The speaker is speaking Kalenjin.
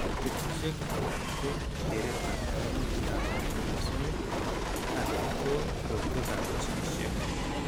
Betushiek alak ko keretab kaimutikab kromosomit anan ko korotwekab ginishek.